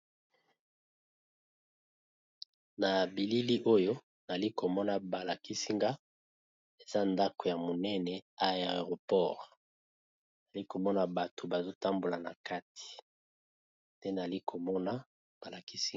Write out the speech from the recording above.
na bilili oyo nali komona balakisinga eza ndako ya monene aeroport nali komona bato bazotambola na kati te nali komona balakisinga